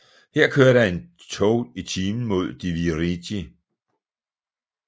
Her kører der en tog i timen mod Divriği